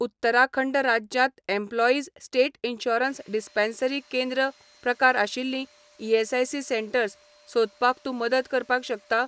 उत्तराखंड राज्यांत employees state insurance dispensary केंद्र प्रकारआशिल्लीं ईएसआयसी सेटंर्स सोदपाक तूं मदत करपाक शकता?